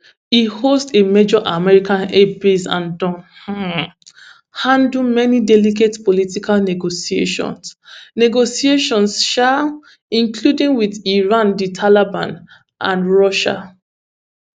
e host a major american air base and don um handle many delicate political negotiations negotiations um including wit iran di taliban and russia